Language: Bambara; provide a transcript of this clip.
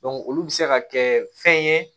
olu bɛ se ka kɛ fɛn ye